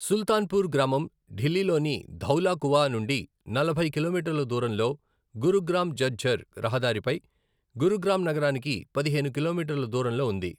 సుల్తాన్పూర్ గ్రామం ఢిల్లీలోని ధౌలా కువా నుండి నలభై కిలోమీటర్ల దూరంలో, గురుగ్రామ్ ఝజ్జర్ రహదారిపై గురుగ్రామ్ నగరానికి పదిహేను కిలోమీటర్ల దూరంలో ఉంది.